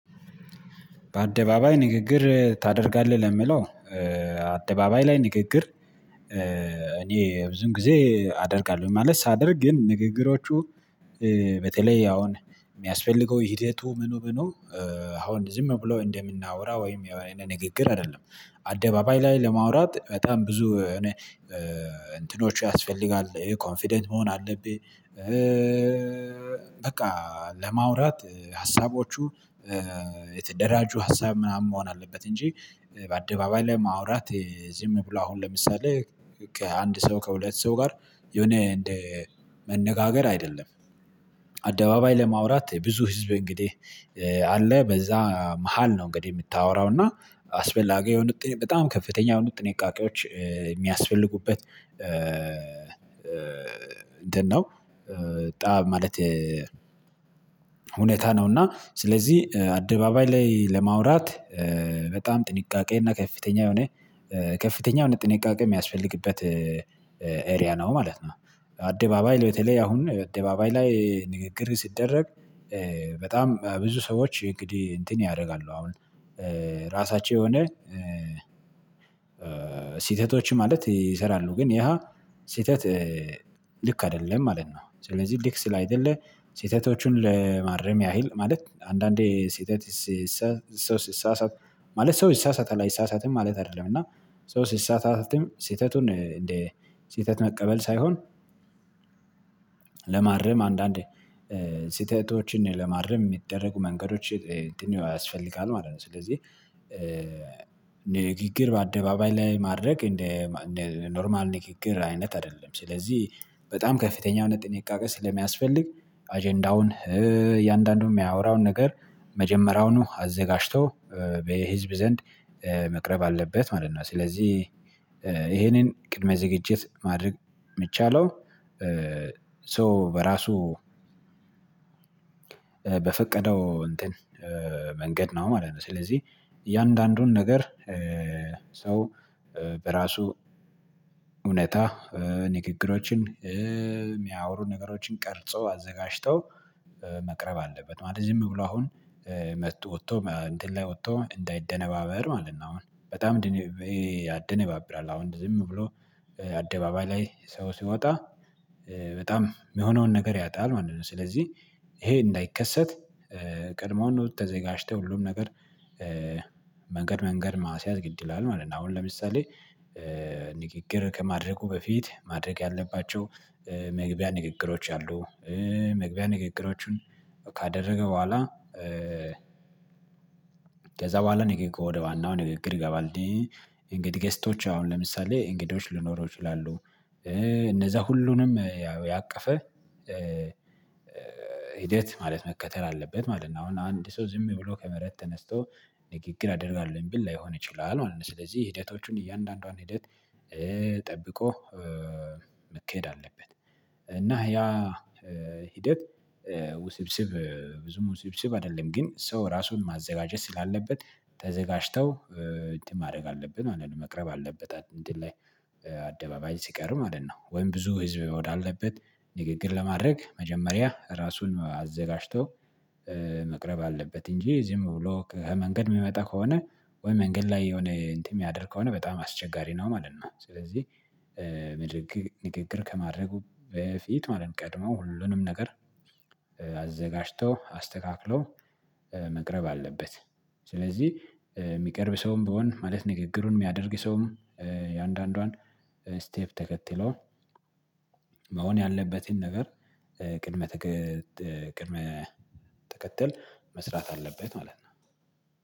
በአደባባይ ንግግር ታደርጋለህ ለምለው አደባባይ ላይ ንግግር። እኔ ብዙን ጊዜ አደርጋለሁ ማለት ሳደርግ ግን ንግግሮቹ። በተለይ አሁን የሚያስፈልገው ሂደቱ ምኑ ምኑ? አሁን ዝም ብሎ እንደምናወራ ወይም የሆነ ንግግር አይደለም አደባባይ ላይ ለማውራት በጣም ብዙ የሆነ እንትኖች ያስፈልጋል ኮንፊደንት መሆን አለብ። በቃ ለማውራት ሀሳቦቹ የተደራጁ ሀሳብ ምናምን መሆን አለበት። እንጂ በአደባባይ ላይ ማውራት ዝም ብሎ አሁን ለምሳሌ ከአንድ ሰው ከሁለት ሰው ጋር የሆነ እንደ መነጋገር አይደለም። አደባባይ ለማውራት ብዙ ህዝብ እንግዲህ አለ በዛ መሃል ነው እንግዲህ የምታወራው እና አስፈላጊ የሆኑት በጣም ከፍተኛ የሆነ ጥንቃቄዎች የሚያስፈልጉበት። እንትነው ማለት ሁኔታ ነው። እና ስለዚህ አደባባይ ላይ ለማውራት በጣም ጥንቃቄ እና ከፍተኛ የሆነ ከፍተኛ የሆነ ጥንቃቄ የሚያስፈልግበት ኤሪያ ነው ማለት ነው። አደባባይ በተለይ አሁን አደባባይ ላይ ንግግር ሲደረግ። በጣም ብዙ ሰዎች እንግዲህ እንትን ያደርጋሉ አሁን ራሳቸው የሆነ ስህተቶች ማለት ይሰራሉ ግን ያ ስህተት ልክ አይደለም ማለት ነው። ስለዚህ ልክ ስላይደለ ሴተቶቹን ለማረም ያህል ማለት አንዳንዴ ስተት ሰው ስትሳሳት ማለት ሰው ስትሳሳት አይሳሳትም ማለት አይደለም። እና ሰው ስትሳሳትም ስህተቱን እንደ ስህተት መቀበል ሳይሆን ለማርም አንዳንዴ ስህተቶችን ለማረም የሚደረጉ መንገዶች እንዲህ ያስፈልጋል ማለት ነው። ስለዚህ ንግግር በአደባባይ ላይ ማድረግ እንደ ኖርማል ንግግር አይነት አይደለም። ስለዚህ በጣም ከፍተኛ የሆነ ጥንቃቄ ስለሚያስፈልግ አጀንዳውን እያንዳንዱን የሚያወራውን ነገር መጀመሪያውኑ አዘጋጅቶ በህዝብ ዘንድ መቅረብ አለበት ማለት ነው። ስለዚህ ይሄንን ቅድመ ዝግጅት ማድረግ የሚቻለው ሶ በራሱ በፈቀደው እንትን መንገድ ነው ማለት ነው። ስለዚህ እያንዳንዱን ነገር ሰው በራሱ እውነታ ንግግሮችን የሚያወሩ ነገሮችን ቀርጾ አዘጋጅተው መቅረብ አለበት ማለት ነው። ዝም ብሎ አሁን መጥቶ ወጥቶ እንትን ላይ ወጥቶ እንዳይደነባበር ማለት ነው። አሁን በጣም ያደነባብራል አሁን ዝም ብሎ አደባባይ ላይ ሰው ሲወጣ በጣም የሆነውን ነገር ያጣል ማለት ነው። ስለዚህ ይሄ እንዳይከሰት ቀድሞውን ተዘጋጅተው ሁሉም ነገር መንገድ መንገድ ማስያዝ ግድ ይላል ማለት ነው። አሁን ለምሳሌ ንግግር ከማድረጉ በፊት ማድረግ ያለባቸው መግቢያ ንግግሮች አሉ መግቢያ ንግግሮቹን ካደረገ በኋላ ከዛ በኋላ ነገኮ ወደ ዋናው ንግግር ይገባል። እንግዲህ ገስቶች አሁን ለምሳሌ እንግዶች ልኖረው ይችላሉ እነዛ ሁሉንም ያቀፈ ሂደት ማለት መከተል አለበት ማለት ነው። አሁን አንድ ሰው ዝም ብሎ ከመረጥ ተነስቶ ንግግር አደርጋለሁ ብል ላይሆን ይችላል ማለት ነው። ስለዚህ የሄደታዎቹን እያንዳንዷን ሂደት ጠብቆ መከሄድ አለበት እና ያ ሂደት ውስብስብ ብዙም ውስብስብ አይደለም ግን ሰው ራሱን ማዘጋጀት ስላለበት ተዘጋጅተው ማድረግ አለብን ማለት ነው። መቅረብ አለበት አይደል ላይ አደባባይ ሲቀርብ ማለት ነው። ወይም ብዙ ህዝብ ወዳለበት ንግግር ለማድረግ መጀመሪያ ራሱን አዘጋጅቶ መቅረብ አለበት እንጂ እዚህም ብሎ ከመንገድ የሚመጣ ከሆነ ወይ መንገድ ላይ የሆነ እንትን የሚያደርግ ከሆነ በጣም አስቸጋሪ ነው ማለት ነው። ስለዚህ ንግግር ከማድረጉ በፊት ማለት ቀድመው ሁሉንም ነገር አዘጋጅቶ አስተካክሎ መቅረብ አለበት። ስለዚህ የሚቀርብ ሰውም ቢሆን ማለት ንግግሩን የሚያደርግ ሰውም የእያንዱንዷን ስቴፕ ተከትለው መሆን ያለበትን ነገር ቅድመ ቅድመ ተከተል መስራት አለበት ማለት ነው